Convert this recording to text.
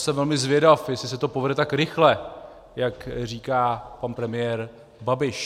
Jsem velmi zvědav, jestli se to povede tak rychle, jak říká pan premiér Babiš.